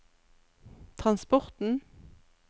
transporten